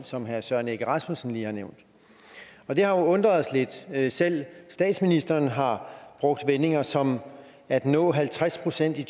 som herre søren egge rasmussen lige har nævnt og det har jo undret os lidt selv statsministeren har brugt vendinger som at nå halvtreds procent i